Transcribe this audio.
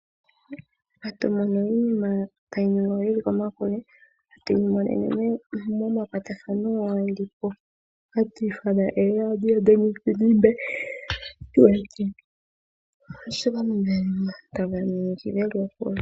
Hatu mono iinima tayi ningwa yili komakule, hatuyi monono momakwatathano ngono haku tiwa oradio yomuzizimbe.